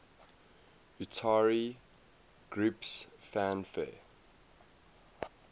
utari groups fanfare